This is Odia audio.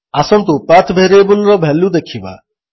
ଆସନ୍ତୁ ପାଥ୍ ଭେରିଏବଲ୍ର ଭାଲ୍ୟୁ ଦେଖିବା